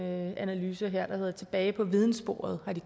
med en analyse der hedder danmark tilbage på vidensporet